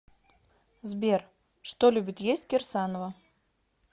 сбер что любит есть кирсанова